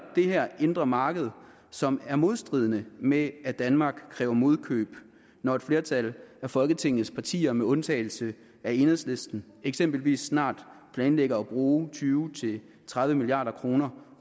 det her indre marked som er i modstrid med at danmark kræver modkøb når et flertal af folketingets partier med undtagelse af enhedslisten eksempelvis snart planlægger at bruge tyve til tredive milliard kroner